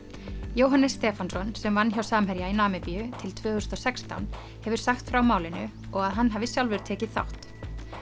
Jóhannes Stefánsson sem vann hjá Samherja í Namibíu til tvö þúsund og sextán hefur sagt frá málinu og að hann hafi sjálfur tekið þátt